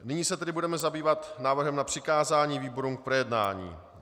Nyní se tedy budeme zabývat návrhem na přikázání výborům k projednání.